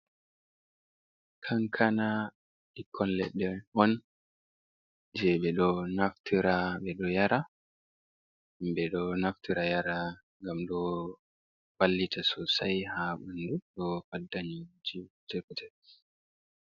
Kankana ɓikkon leɗɗe on je ɓe ɗo naftira nyara, himɓe ɗo naftira nyara ngam ɗo ballita sosai ha ɓandu do faddugo zazɓi.